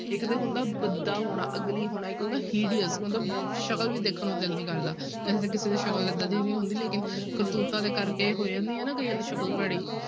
ਇੱਕ ਤੇ ਹੁੰਦਾ ਭੱਦਾ ਹੋਣਾ ugly ਹੋਣਾ, ਇੱਕ ਹੁੰਦਾ hideous ਮਤਲਬ ਸ਼ਕਲ ਵੀ ਦੇਖਣ ਨੂੰ ਦਿਲ ਨੀ ਕਰਦਾ ਵੈਸੇ ਤਾਂ ਕਿਸੇ ਦੀ ਸ਼ਕਲ ਏਦਾਂ ਨੀ ਹੁੰਦੀ ਲੇਕਿੰਨ ਕਰਤੂਤਾਂ ਦੇ ਕਰਕੇ ਹੋ ਜਾਂਦੀ ਹੈ ਨਾ ਕਈਆਂ ਦੀ ਸ਼ਕਲ ਭੈੜੀ।